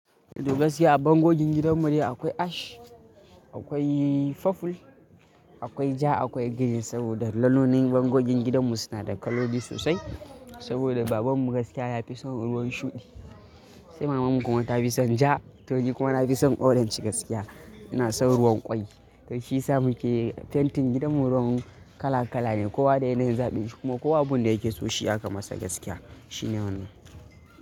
Gaskiya a bangogin gidan mu dai akwai ash, akwai faful, akwai ja, akwai girin saboda lalonin bangogin gidan mu suna da kaloli sosai. Saboda baban mu gaskiya ya fi son ruwan shuɗi, sai maman mu kuma ta fi son ja, to ni kuma na fi son orange gaskiya. Ina son ruwan ƙwai, kai shi ya sa muke fentin gidan mu ruwan kala kala ne. Kowa da yanayin zaɓin shi kuma kowa abun da yake so shi ya kamata gaskiya. Shine wannan.